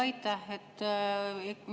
Aitäh!